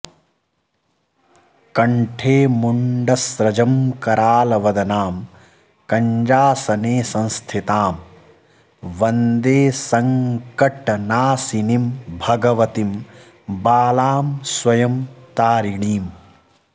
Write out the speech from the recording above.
कण्ठे मुण्डस्रजं करालवदनां कञ्जासने संस्थितां वन्दे सङ्कटनाशिनीं भगवतीं बालां स्वयं तारिणीम्